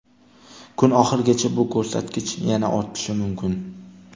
Kun oxirigacha bu ko‘rsatkich yana ortishi mumkin.